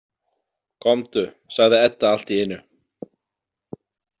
Komdu, sagði Edda allt í einu.